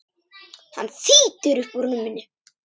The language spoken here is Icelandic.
Hann þýtur upp úr rúminu.